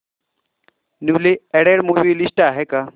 newly added movie list आहे का